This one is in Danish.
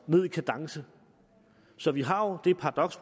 ned i kadence så vi har jo det paradoks